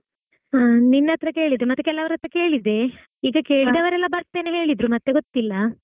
ಹಾ ನಿನ್ ಹತ್ರಾ ಕೇಳಿದೆ ಮತ್ತೆ ಕೆಲವರ ಹತ್ರ ಕೇಳಿದೆ ಈಗ ಕೇಳಿದವರೆಲ್ಲಾ ಬರ್ತೇನೆ ಹೇಳಿದ್ರು ಮತ್ತೆ ಗೊತ್ತಿಲ್ಲಾ.